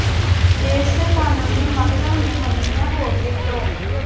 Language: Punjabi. ਦੇਸ਼ ਦੇ ਕਾਨੂੰਨੀ ਮਾਹਿਰਾਂ ਨੇ ਮੰਨਿਆ ਹੈ ਕਿ ਪ੍ਰੋ